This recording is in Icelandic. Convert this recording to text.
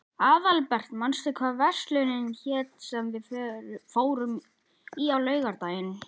Aðalbert, manstu hvað verslunin hét sem við fórum í á laugardaginn?